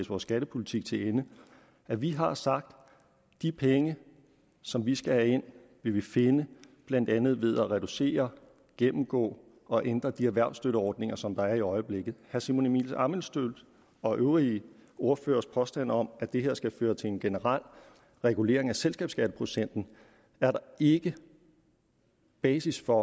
vores skattepolitik til ende at vi har sagt at de penge som vi skal have ind vil vi finde blandt andet ved at reducere gennemgå og ændre de erhvervsstøtteordninger som der er i øjeblikket herre simon emil ammitzbølls og øvrige ordføreres påstand om at det her skal føre til en generel regulering af selskabsskatteprocenten er der ikke basis for